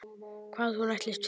Hvað hún ætlist fyrir.